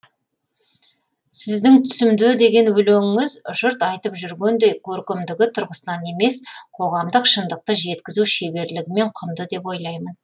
сіздің түсімде деген өлеңіңіз жұрт айтып жүргендей көркемдігі тұрғысынан емес қоғамдық шындықты жеткізу шеберлігімен құнды деп ойлаймын